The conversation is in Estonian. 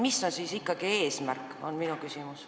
Mis on siis ikkagi eesmärk, on minu küsimus.